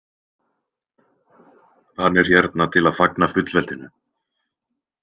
Hann er hérna til að fagna fullveldinu.